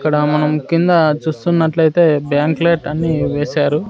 ఇక్కడ మనం కింద చూస్తున్నట్లయితే బ్యాంక్ లేట్ వేశారు.